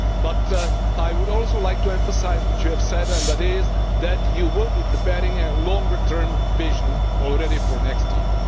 But I would also like to emphasise what you have said, and that is that you will be preparing a longer term vision for next year.